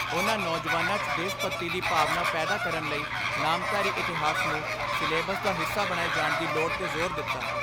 ਉਨ੍ਹਾਂ ਨੌਜਵਾਨਾਂ 'ਚ ਦੇਸ਼ ਭਗਤੀ ਦੀ ਭਾਵਨਾ ਪੈਦਾ ਕਰਨ ਲਈ ਨਾਮਧਾਰੀ ਇਤਿਹਾਸ ਨੂੰ ਸਿਲੇਬਸ ਦਾ ਹਿੱਸਾ ਬਣਾਏ ਜਾਣ ਦੀ ਲੋੜ 'ਤੇ ਜ਼ੋਰ ਦਿੱਤਾ।